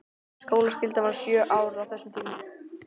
Skólaskyldan var sjö ár á þessum tíma.